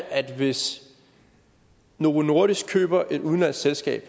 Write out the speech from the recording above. altså hvis novo nordisk køber et udenlandsk selskab